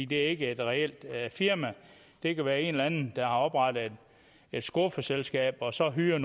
det er ikke et reelt firma det kan være en eller anden der har oprettet et skuffeselskab og så hyrer